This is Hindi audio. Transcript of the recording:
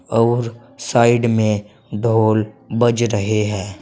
और साइड में ढोल बज रहे हैं।